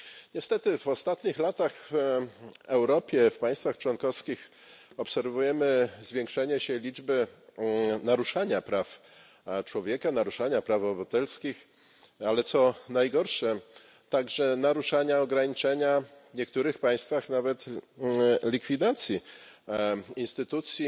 Niestety w ostatnich latach w Europie, w państwach członkowskich obserwujemy zwiększenie się liczby naruszeń praw człowieka, naruszeń praw obywatelskich, ale, co najgorsze, także naruszeń, ograniczeń, a w niektórych państwach nawet likwidacji instytucji,